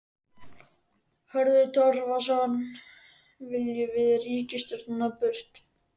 Hörður Torfason: Viljum við ríkisstjórnina burt?